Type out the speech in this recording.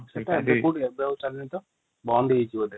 ସେଇଟା କୋଉଠି ଏବେ ଆଉ ଜଳୁଣୀ ତ ବନ୍ଦ ହେଇଯାଇଛି ତ |